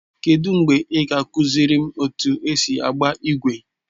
Kedụ mgbe ị ga-akụziri m otu esi agba igwe?